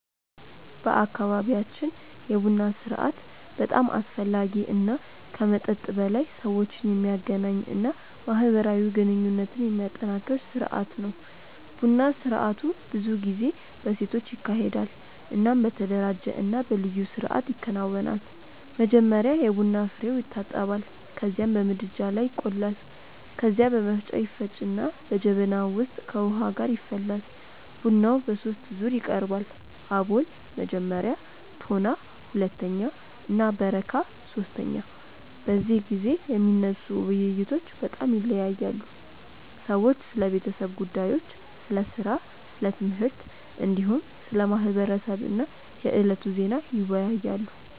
በአካባቢያችን የቡና ስርአት በጣም አስፈላጊ እና ከመጠጥ በላይ ሰዎችን የሚያገናኝ እና ማህበራዊ ግንኙነትን የሚያጠናክር ስርአት ነው። ቡና ስርአቱ ብዙ ጊዜ በሴቶች ይካሄዳል እናም በተደራጀ እና በልዩ ስርአት ይከናወናል። መጀመሪያ የቡና ፍሬዉ ይታጠባል ከዚያም በምድጃ ላይ ይቆላል። ከዚያ በመፍጫ ይፈጭና በጀበና ውስጥ ከውሃ ጋር ይፈላል። ቡናው በሶስት ዙር ይቀርባል፤ አቦል (መጀመሪያ)፣ ቶና (ሁለተኛ) እና በረካ (ሶስተኛ)። በዚህ ጊዜ የሚነሱ ውይይቶች በጣም ይለያያሉ። ሰዎች ስለ ቤተሰብ ጉዳዮች፣ ስለ ሥራ፣ ስለ ትምህርት፣ እንዲሁም ስለ ማህበረሰብ እና የዕለቱ ዜና ይወያያሉ።